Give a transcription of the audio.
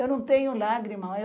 Eu não tenho lágrimas.